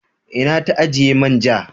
Ina ta ajiye manja?